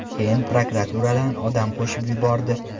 Keyin prokuraturadan odam qo‘shib yubordi.